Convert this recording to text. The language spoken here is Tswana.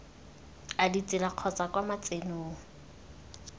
a ditsela kgotsa kwa matsenong